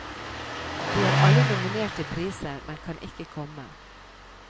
De er alle nominert til priser, men kan ikke komme.